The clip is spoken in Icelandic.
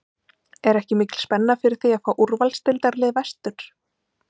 Er ekki mikil spenna fyrir því að fá úrvalsdeildarlið vestur?